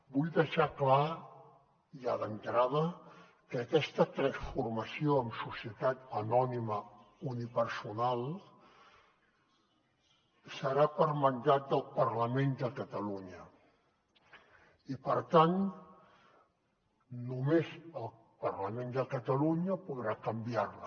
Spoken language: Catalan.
vull deixar clar ja d’entrada que aquesta transformació en societat anònima unipersonal serà per mandat del parlament de catalunya i per tant només el parlament de catalunya podrà canviarla